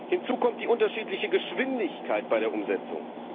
Hinzu kommt die unterschiedliche Geschwindigkeit bei der Umsetzung.